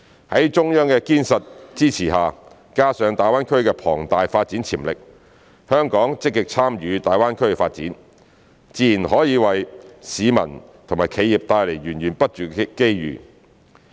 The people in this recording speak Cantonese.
在中央的堅實支持下，加上大灣區的龐大發展潛力，香港積極參與大灣區發展，自然可為市民和企業帶來源源不絕的機遇。